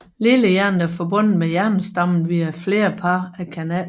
Lillehjernen er forbundet med hjernestammen via flere par af kanaler